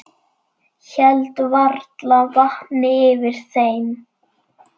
Hélt varla vatni yfir þeim.